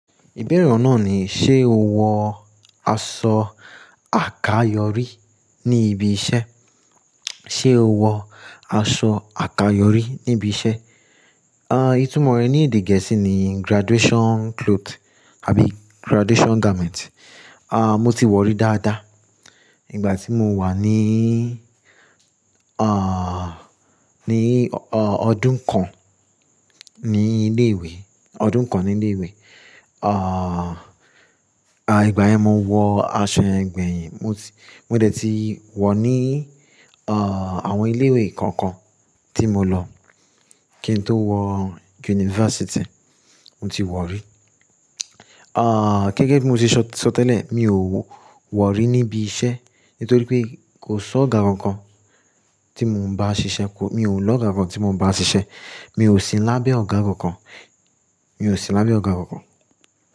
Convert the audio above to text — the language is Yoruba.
Ìbẹ́rẹ ọ̀ náà ni, ṣe o wọ aṣọ àkayòrí ní ibi iṣẹ́? Ṣe o wọ aṣọ àkayòrí ní ibi iṣẹ́? À, ìtumọ̀ rẹ̀ ní èdè gẹ̀ẹ́sì ni graduation cloth àbí graduation garment. À, mo ti wọ̀ rí dáadáa. Ìgbà tí mo wà ní, à, ní, à, ọdún kan ní ilé ìwé, ọdún kan ní ilé ìwé. À, à, ìgbà yẹn mo wọ aṣọ ẹgbẹ́ yẹn. Mo ti, mo dé tí wọ̀ ní, à, àwọn ilé ìwé kọ̀ọ̀kan tí mo lọ. Kí n tó wọ unifásítì, mo ti wọ̀ rí. À, gẹ́gẹ́ bí mo ṣe sọ tẹ́lẹ̀, mi ò wọ̀ rí níbi iṣẹ́. Nítorí pé kò sọ́ ọ̀gá kan kan tí mò ń bá ṣiṣẹ́. Kò, mi ò lọ ọ̀gá kankan tí mò ń bá ṣiṣẹ́. Mi ò si lábẹ́ ọ̀gá kan kan. Mi ò si lábẹ́ ọ̀gá kan kan.